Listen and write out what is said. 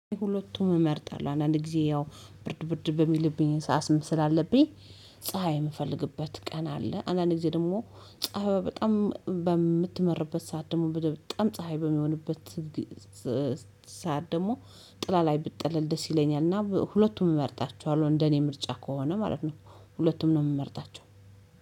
ሁለቱም እመርጣለሁ አንዳንድ ጊዜ ያው ብርድ ብርድ በሚልብኝ ሰዓት አስም ስላለብኝ ፀሀይ የምፈልግበት ቀን አለ አንዳንድ ጊዜ ደግሞ ፀሀይ በጣም በምትመርበት ሰዓት ደግሞ በጣም ፀሀይ በሚሆንበት ሰዓት ደግሞ ጥላ ላይ ብጠለል ደስ ይለኛልና ሁለቱም እመርጣቸኋለሁ እንደኔ ምርጫ ከሆነ ማለት ነው። ሁለቱም ነው የምመርጣቸው